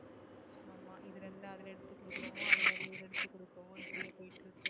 இதுல இல்ல அதுல எடுத்து கொடுக்குறோமோ அதா எடுத்து கொடுப்போம்.